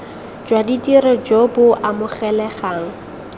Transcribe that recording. jwa tiro jo bo amogelegang